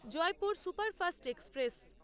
Jaipur superfast express